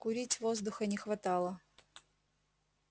курить воздуха не хватало